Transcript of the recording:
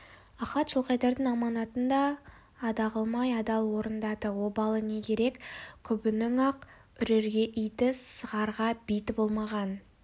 ахат жылқайдардың аманатын ада қылмай адал орындады обалы не керек көбінің-ақ үрерге иті сығарға биті болмаған